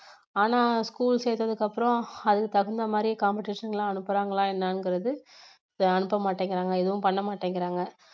ஆனா school சேத்ததுக்கு அப்புறம் அதுக்கு தகுந்த மாதிரி competition க்கு எல்லாம் அனுப்புறாங்களா என்னங்குறது அனுப்ப மாட்டேங்குறாங்க எதுவும் பண்ண மாட்டேங்கிறாங்க